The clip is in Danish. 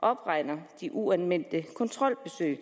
opregner de uanmeldte kontrolbesøg